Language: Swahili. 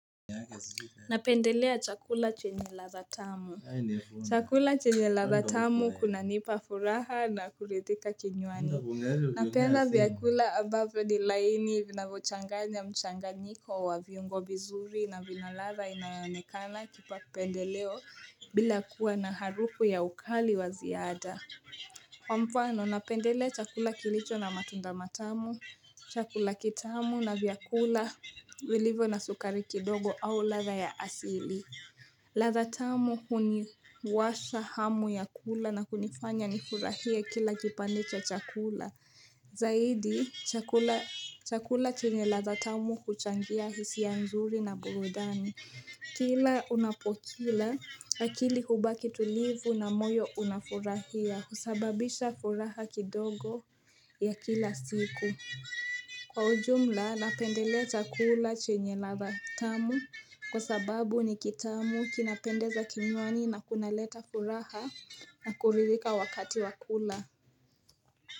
Napendelea chakula chenye radha tamu. Chakula chenye radha tamu kuna nipa furaha na kuridhika kinywani. Napenda vyakula ambavyo ni laini vinavyochanganya mchanganyiko wa viungo vizuri na vina radha inayonekana kipa pendeleo bila kuwa na harufu ya ukali wa ziada. Kwa mfano napendelea chakula kilicho na matunda matamu chakula kitamu na vyakula vilivyo na sukari kidogo au radha ya asili radha tamu huniwasha hamu ya kula na kunifanya nifurahia kila kipande cha chakula Zaidi chakula chini radha tamu huchangia hisia ya nzuri na burudani Kila unapokila akili hubaki tulivu na moyo unafurahia husababisha furaha kidogo ya kila siku Kwa ujumla napendelea chakula chenye radha tamu Kwa sababu ni kitamu kinapendeza kinywani na kunaleta furaha na kuridhika wakati wa kula.